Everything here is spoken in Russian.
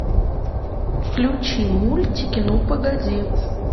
включи мультики ну погоди